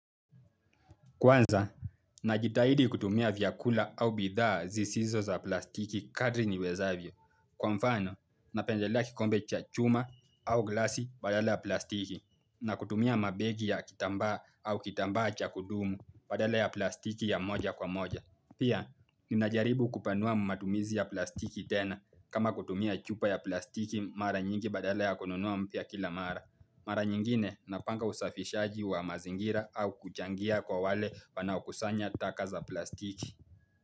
Kwanza, najitahidi kutumia vyakula au bidhaa zisizo za plastiki kadri ni wezavyo. Kwa mfano, napendelea kikombe cha chuma au glasi badala ya plastiki, na kutumia mabegi ya kitambaa au kitambaa cha kudumu badala ya plastiki ya moja kwa moja. Pia, ninajaribu kupanua matumizi ya plastiki tena, kama kutumia chupa ya plastiki mara nyingi badala ya kononua mpia kila mara. Mara nyingine, napanga usafishaji wa mazingira au kuchangia kwa wale wanaokusanya taka za plastiki.